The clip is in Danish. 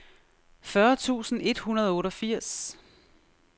fyrre tusind et hundrede og otteogfirs